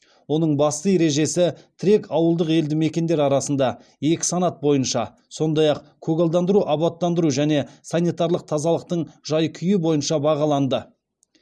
оның басты ережесі тірек ауылдық елді мекендер арасында екі санат бойынша сондай ақ көгалдандыру абаттандыру және санитарлық тазалықтың жай күйі бойынша бағаланды